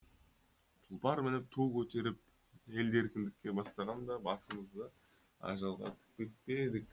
тұлпар мініп ту көтеріп елді еркіндікке бастағанда басымызды ажалға тікпеп пе едік